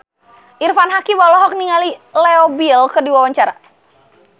Irfan Hakim olohok ningali Leo Bill keur diwawancara